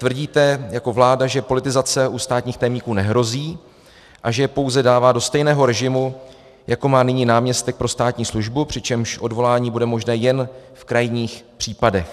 Tvrdíte jako vláda, že politizace u státních tajemníků nehrozí a že je pouze dává do stejného režimu, jako má nyní náměstek pro státní službu, přičemž odvolání bude možné jen v krajních případech.